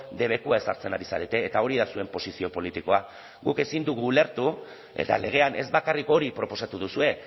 debekua ezartzen ari zarete eta hori da zuen posizio politikoa guk ezin dugu ulertu eta legean ez bakarrik hori proposatu duzue